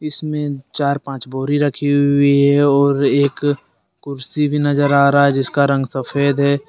इसमें चार पांच बोरी रखी हुई है और एक कुर्सी भी नजर आ रहा है जिसका रंग सफेद है ।